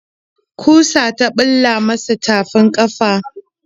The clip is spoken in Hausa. Ƙusa ta bula masa tafin ƙafa.